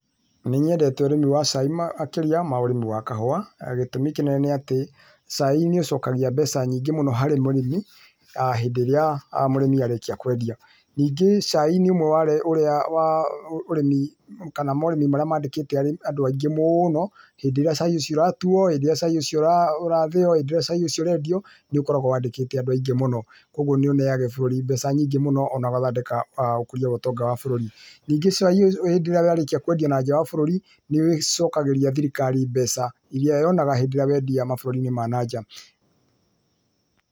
Nĩnyendete ũrĩmi wa cai makĩrĩa wa ũrĩmi wa kahũa. Gĩtũmi kĩnene nĩ atĩ, cai nĩ ũcokagia mbeca nyingĩ mũno harĩ mũrĩmi hĩndĩ ĩrĩa mũrĩmi arĩkia kwendia, nyingĩ cai nĩ ũmwe wa ũrĩa wa ũrĩmi kana morĩmi marĩa mandĩkĩte andũ aingĩ mũno hĩndĩ ĩrĩa cai ũcio ũratuuo, hĩndĩ ĩrĩa cai ũcio ũrathĩo, hĩndĩ ĩrĩa cai ũcio ũrendio nĩ ũkoragwo wandĩkĩte andũ aingĩ mũno kũguo nĩ ũneaga bũrũri mbeca nyingĩ mũno ona gũthondeka ũkũría wa ũtonga wa bũrũri. Ningĩ cai hĩndĩ ĩrĩa warĩkia kwendio na nja wa bũrũri nĩ ũcokagĩria thirikari mbeca, iria yonaga hĩndĩ ĩrĩa wendia mabũrũri-inĩ ma na nja.